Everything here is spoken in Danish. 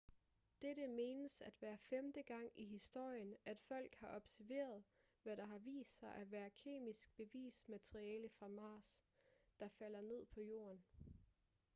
dette menes at være femte gang i historien at folk har observeret hvad der har vist sig at være kemisk bevist materiale fra mars der falder ned på jorden